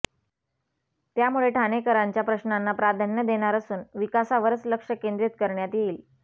त्यामुळे ठाणेकरांच्या प्रश्नांना प्राधान्य देणार असून विकासावरच लक्ष केंद्रीत करण्यात येईल